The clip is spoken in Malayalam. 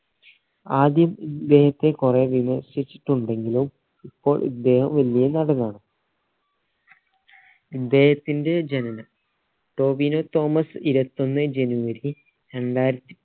ആദ്യം ഇദ്ദേഹത്തെ കൊറേ വിമർശിച്ചുണ്ടെങ്കിലും ഇപ്പോൾ ഇദ്ദേഹം വലിയെ നടനാണ് ഇദ്ദേഹത്തിന്റെ ജനനം ടോവിനോ തോമസ് ഇരുവത്തൊന്ന് january